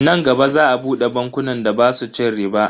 Nan gaba za a bude bankunan da basu cin riba.